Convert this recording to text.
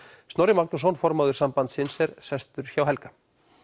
Snorri Magnússon formaður sambandsins er sestur hjá Helga